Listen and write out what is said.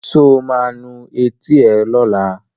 Sọ ma nu etí ẹ lọ́la?